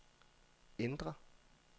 ændr